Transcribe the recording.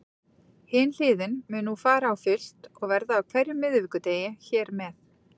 Hin hliðin mun nú fara á fullt og verða á hverjum miðvikudegi hér með.